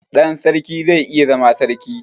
Ɗan sarki zai iya zama sarki